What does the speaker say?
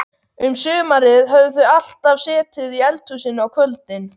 Um sumarið höfðu þau alltaf setið í eldhúsinu á kvöldin.